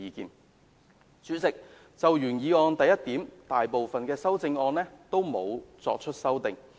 代理主席，就原議案的第一部分，大部分修正案也沒有作出修正。